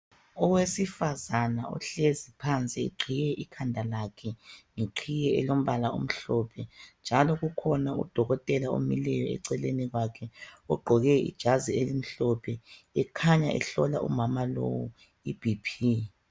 Owesifazana ohlezi phansi eqhiye ikhanda lakhe ngeqhiye elombala omhlophe njalo kukhona udokotela omileyo eceleni kwakhe ogqoke ijazi elimhlophe ekhanya ehlola umama lowu iBP.